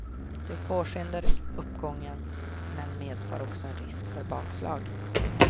Det påskyndar uppgången, men medför också en risk för bakslag.